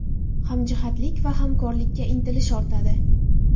Hamjihatlik va hamkorlikka intilish ortadi.